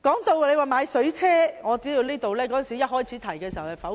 至於購買水炮車一事，我知道一開始時曾被否決。